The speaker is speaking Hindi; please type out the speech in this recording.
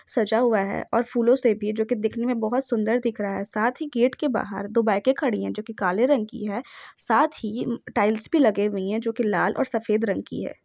सजा हुआ है और फूलों से भी जो कि दिखने मे बहुत सुन्दर दिख रहा है साथ ही गेट के बाहर दो बाईके खड़ी है जो कि काले रंग की है साथ ही टाइल्स भी लगे हुए है जोकि लाल और सफ़ेद रंग की है।